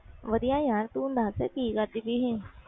ਵਧੀਆ ਯਾਰ ਤੂੰ ਦਸ ਕਿ ਕਰ ਕਰਦੀ ਪਈ ਸੀ